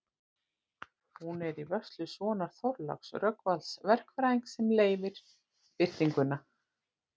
Hún er í vörslu sonar Þorláks, Rögnvalds verkfræðings, sem leyfði birtinguna.